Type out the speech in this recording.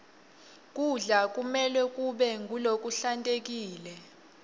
kudla kumelwe kube ngulokuhlantekile